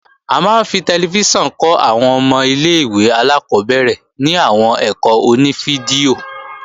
A máa ń fi tẹlifíṣàn kọ́ àwọn ọmọ ilé-ìwé alákọ́bẹ̀rẹ̀ ní àwọn ẹ̀kọ́ oní fídíò